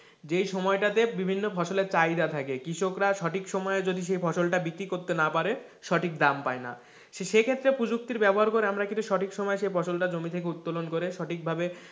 যেই সময়টাতে বিভিন্ন ফসলের চাহিদা থাকে কৃষকরা সঠিক সময়ে যদি সেই ফসলটা বিক্রি করতে নাকি পারে, সঠিক দাম পায় না, সে ক্ষেত্রে প্রযুক্তির ব্যবহার করে আমরা কিন্তু সঠিক সময়ে সেই জমি থেকে উত্তোলন করে সঠিক ভাবে,